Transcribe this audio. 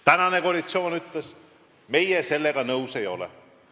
Praegune koalitsioon ütles, et meie sellega nõus ei ole.